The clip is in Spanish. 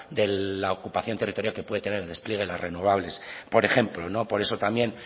de la ocupación territorial que puede tener el despliegue las renovables por ejemplo por eso también